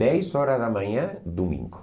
Dez horas da manhã, domingo.